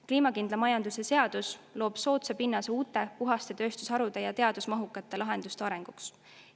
Kliimakindla majanduse seadus loob soodsa pinnase uute, puhaste tööstusharude ja teadusmahukate lahenduste arenguks.